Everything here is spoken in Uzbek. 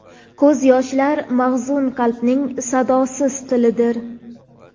Ko‘z yoshlar mahzun qalbning sadosiz tilidir.